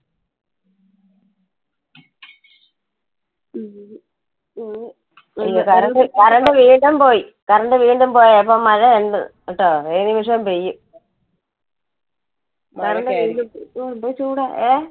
current വീണ്ടും പോയി current വീണ്ടും പോയി അപ്പൊ മഴ ഉണ്ട് കെട്ടോ ഏതു നിമിഷവും പെയ്യും. എന്തൊരു ചൂടാ. ഏഹ്